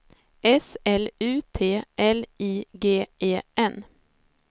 S L U T L I G E N